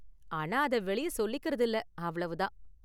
ஆனா அத வெளிய சொல்லிக்கறது இல்ல, அவ்வளவு தான்.